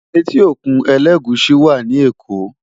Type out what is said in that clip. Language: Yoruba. Éti ókún Elegushi wá ni Ékó